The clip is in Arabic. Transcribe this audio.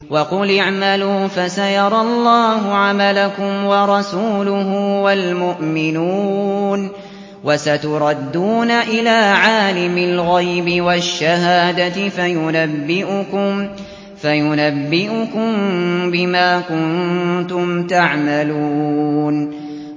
وَقُلِ اعْمَلُوا فَسَيَرَى اللَّهُ عَمَلَكُمْ وَرَسُولُهُ وَالْمُؤْمِنُونَ ۖ وَسَتُرَدُّونَ إِلَىٰ عَالِمِ الْغَيْبِ وَالشَّهَادَةِ فَيُنَبِّئُكُم بِمَا كُنتُمْ تَعْمَلُونَ